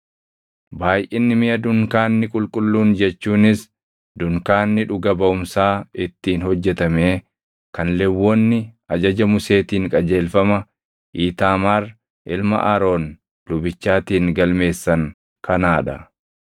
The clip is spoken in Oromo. Baayʼinni miʼa dunkaanni qulqulluun jechuunis dunkaanni dhuga baʼumsaa ittiin hojjetamee kan Lewwonni ajaja Museetiin qajeelfama Iitaamaar ilma Aroon lubichaatiin galmeessan kanaa dha.